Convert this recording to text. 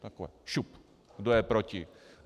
Jako šup, kdo je proti.